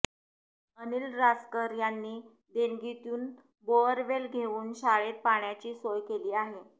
अनिल रासकर यांनी देणगीतून बोअरवेल घेऊन शाळेत पाण्याची सोय केली आहे